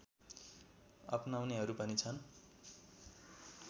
अपनाउनेहरू पनि छन्